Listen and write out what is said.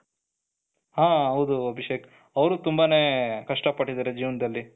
ಹ ಹೌದು ಅಭಿಷೇಕ್, ಅವರು ತುಂಬಾನೇ ಕಷ್ಟ ಪಟ್ಟಿದ್ದಾರೆ ಜೀವನದಲ್ಲಿ,